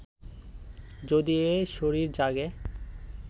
যদি এ শরীর জাগে